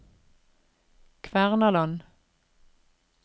Kvernaland